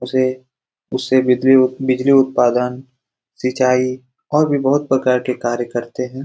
उसे उससे बिजली उत्पादन सिचाई और भी बहुत प्रकार के कार्य करते हैं।